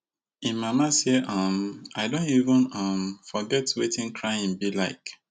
im mama say um i don even um forget wetin crying be like